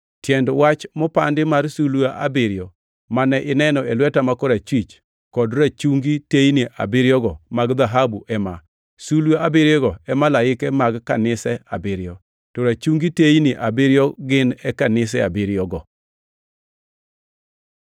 Tiend wach mopandi mar sulwe abiriyo mane ineno e lweta ma korachwich, kod rachungi teyni abiriyogo mag dhahabu ema: Sulwe abiriyogo e malaike mag kanise abiriyo, to rachungi teyni abiriyo gin e kanise abiriyogo.